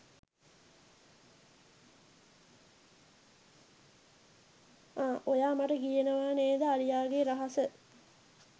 අ ඔයා මට කියනවා නේද අලියාගේ රහස